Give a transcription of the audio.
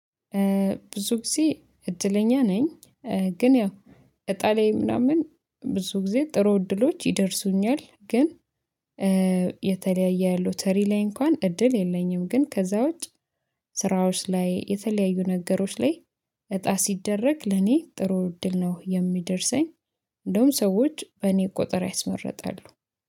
ብዙ ጊዜ እድለኛ ነኝ፣ ግን ያው እጣ ላይ ምናምን ብዙ ጊዜ ጥሩ እድሎች ይደርሱኛል። ግን የተለያየ ሎተሪ ላይ እንኳን እድል የለኝም። ግን ከዛ ውጭ ስራዎች ላይ የተለያዩ ነገሮች ላይ እጣ ሲደረግ ለኔ ጥሩ እድል ነው የሚደርሰኝ። እንደውም ሰዎች በእኔ ቁጥር ያስመርጣሉ።